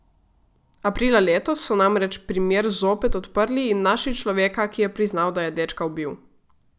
Aprila letos so namreč primer zopet odprli in našli človeka, ki je priznal, da je dečka ubil.